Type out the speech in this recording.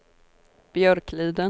Björkliden